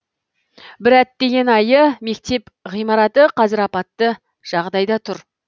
бір әттеген айы мектеп ғимараты қазір апатты жағдайда тұр